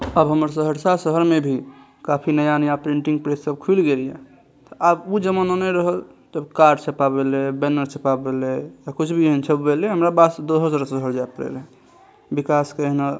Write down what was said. अब हमर सहरसा शहर मे काफी नया-नया प्रिंटिंग प्रेस सब खुएल गेल ये अब उ जमाना नय रहल जब कार्ड छपावे लय बैनर छपावे ले या कुछ भी यहाँ छपावे ले बैनर या कुछ भी यहाँ छपावेले हमरा--